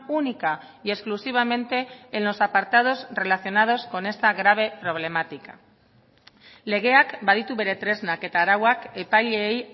única y exclusivamente en los apartados relacionados con esta grave problemática legeak baditu bere tresnak eta arauak epaileei